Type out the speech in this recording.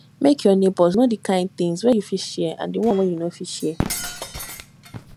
make your neighbors know di kind things wey you fit share and di one wey you no fit share